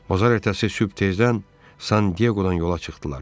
Bazar ertəsi sübh tezdən San Dieqodan yola çıxdılar.